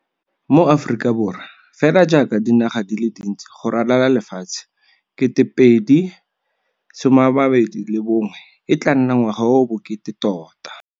Mo Aforika Borwa, fela jaaka dinaga di le dintsi go ralala lefatshe, 2021 e tla nna ngwaga o o bokete tota.